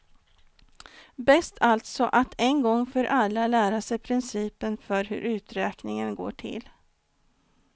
Bäst alltså att en gång för alla lära sig principen för hur uträkningen går till.